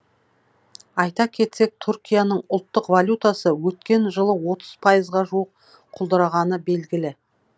айта кетсек түркияның ұлттық валютасы өткен жылы отыз пайызға жуық құлдырағаны белгілі